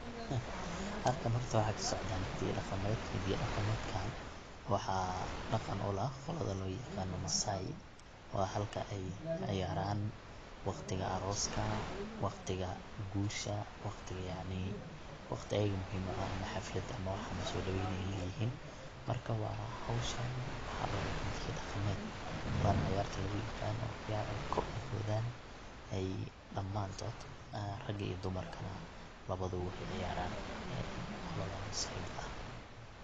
Halkan horta waxaa kasocda hida iyo dhaqameed. Hida iyo dhaqameedkan waxaa dhaqan u leh qolada loo yaqano maasai waa halka ay ciyaran waqtiga aroska, waqtiga guusha, waqtiga yacni waqti ayaga muhiim u ah ama xaflad ama wax lasodabaynayo inay yihin marka howshan waxa waaye hida iyo dhaqameed waana cayarta laguyaqaano cayar ay kor u boodan ay dhamantood rag iyo dumarkana labaduba waxay ay ciyaran ee qolodan maasai da ah.